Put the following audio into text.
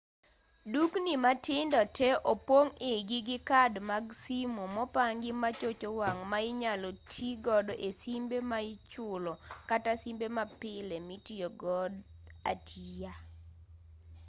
dukni matindo tee opong' igi gi kad mag simo mopangi machocho wang' ma inyalo tii godo e simbe ma ichulo kata simbe mapile mitiyogo atiya